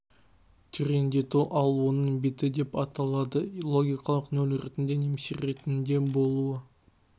тереңдету ал оның беті деп аталады логикалық нөл ретінде немесе ретінде болуы